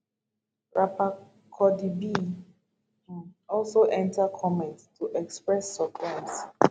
rapper cardi b um also enta comment to express surprise